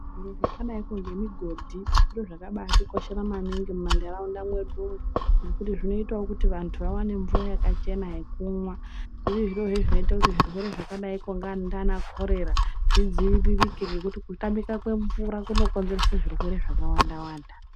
Zviro zvakadaikwo ngemugodhi zviro zvakabaatikoshera mumantaraunda mwedu umwo ngekuti zvinoitawo kuti vantu vawane mvura yakachena yekumwa zviri zviro zvinoitazve kuti zvirwere zvakadaikwo nga ndiana korera zvidziviririke ngekuti kutamika kwemvura kunokonzerese zvirwere zvakawanda wanda.